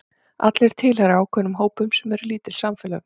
Allir tilheyra ákveðnum hópum sem eru lítil samfélög.